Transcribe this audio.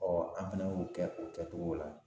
an fana y'o kɛ o kɛcogo la